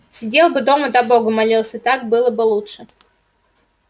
сидел бы дома да богу молился так было бы лучше